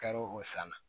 Karo o san na